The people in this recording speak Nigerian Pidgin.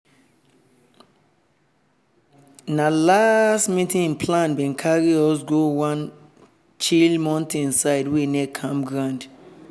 na last-minute plan bin carry us go one chill mountain side wey near campground.